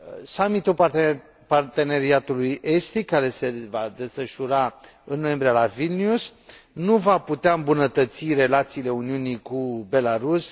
Summitul Parteneriatului estic, care se va desfășura în noiembrie la Vilnius, nu va putea îmbunătăți relațiile Uniunii cu Belarus.